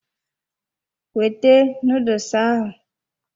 Wete noodles ahụ!